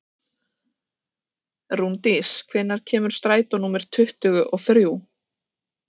Rúndís, hvenær kemur strætó númer tuttugu og þrjú?